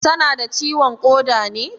Tana da ciwon ƙoda ne?